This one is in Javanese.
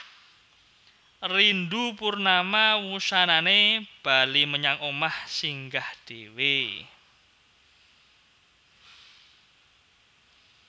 Rindu Purnama wusanané bali menyang omah Singgah dhéwé